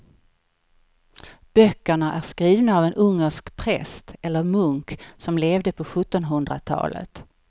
Böckerna är skrivna av en ungersk präst eller munk som levde på sjuttonhundratalet.